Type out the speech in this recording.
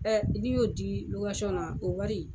n'i y'o di na o wari,